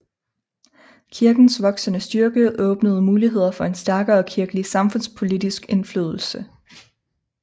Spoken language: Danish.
Kirkens voksende styrke åbnede muligheder for en stærkere kirkelig samfundspolitisk indflydelse